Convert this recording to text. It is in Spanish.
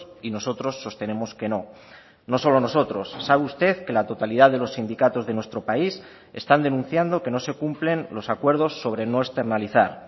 y nosotros sostenemos que no no solo nosotros sabe usted que la totalidad de los sindicatos de nuestro país están denunciando que no se cumplen los acuerdos sobre no externalizar